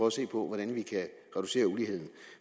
at se på hvordan vi kan reducere uligheden